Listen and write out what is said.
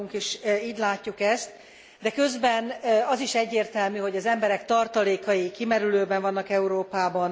Mi magunk is így látjuk ezt, de közben az is egyértelmű, hogy az emberek tartalékai kimerülőben vannak Európában.